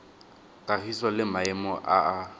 kagiso le maemo a a